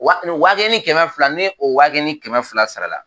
Wa nin wa kelen ni kɛmɛ fila, ni o wa kelen ni kɛmɛ fila sara la